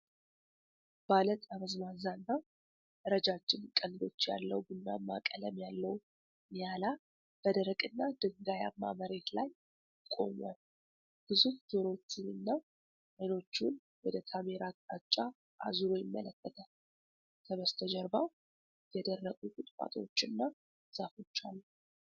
ባለ ጠመዝማዛና ረጅም ቀንዶች ያለው፣ ቡናማ ቀለም ያለው ኒያላ በደረቅና ድንጋያማ መሬት ላይ ቆሟል። ግዙፍ ጆሮዎቹንና አይኖቹን ወደ ካሜራው አቅጣጫ አዙሮ ይመለከታል። ከበስተጀርባው የደረቁ ቁጥቋጦዎችና ዛፎች አሉ።